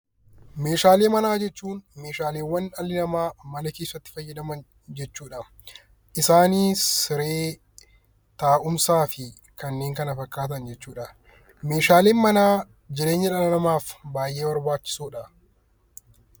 Meeshaalee manaa jechuun meeshaawwan dhalli namaa mana keessatti fayyadaman jechuudha. Isaanis siree, taa'umsaafi kanneen kana fakkaatan jechuudha. Meeshaaleen manaa baayyee barbaachisoodha.